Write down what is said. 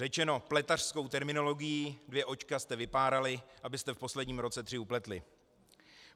Řečeno pletařskou terminologií, dvě očka jste vypárali, abyste v posledním roce tři upletli.